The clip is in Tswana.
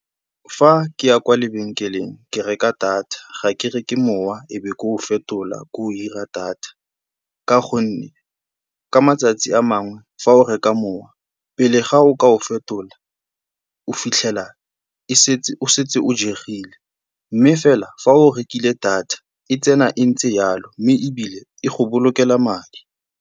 Fa ke ya kwa lebenkeleng, ke reka data, ga ke reke mowa ebe ke o fetola ke o dira data ka gonne ka matsatsi a mangwe fa o reka mowa, pele ga o ka o fetola o fitlhela e setse o setse o jegile, mme fela fa o rekile data e tsena e ntse jalo, mme ebile e go bolokela madi.